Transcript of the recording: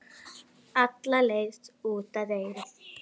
Og alla leið út að eyrum.